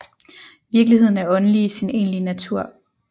Virkeligheden er åndelig i sin egentlige natur